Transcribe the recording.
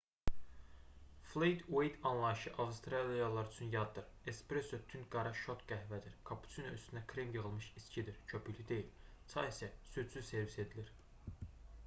"flet ueyt anlayışı avstraliyalılar üçün yaddır. espresso tünd qara şot qəhvədir kapuçino üstünə krem yığılmış içkidir köpüklü deyil çay isə südsüz servis edilir